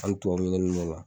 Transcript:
Hani tubabu ɲinɛni b'o la.